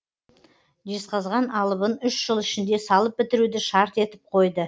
жезқазған алыбын үш жыл ішінде салып бітіруді шарт етіп қойды